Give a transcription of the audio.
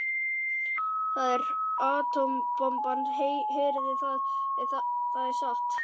Það er atómbomban, heyrið þið það, það er satt.